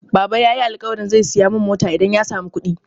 Baba yayi alƙawarin zai siya mun mota idan ya samu kuɗi.